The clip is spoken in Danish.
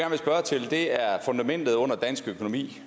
det er er fundamentet under dansk økonomi